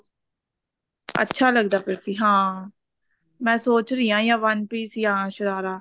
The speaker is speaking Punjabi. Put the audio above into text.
ਅੱਛਾ ਲੱਗਦਾ ਪਿਆ ਸੀ ਹਾਂ ਮੈਂ ਸੋਚ ਰਹੀ ਆ ਜਾਂ one piece ਜਾਂ ਸ਼ਰਾਰਾ